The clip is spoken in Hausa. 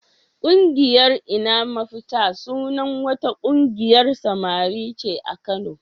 Ƙungiyar "Ina Mafita" sunan wata ƙungiyar samari ce a Kano.